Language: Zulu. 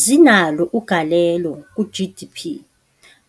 Zinalo ugalelo ku-G_D_P,